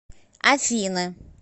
афины